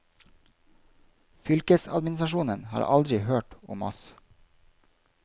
Fylkesadministrasjonen har aldri hørt om oss.